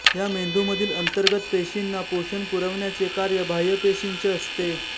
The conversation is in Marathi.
या मेंदूमधील अंतर्गत पेशीना पोषण पुरवण्याचे कार्य बाह्य पेशींचे असते